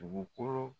Dugukolo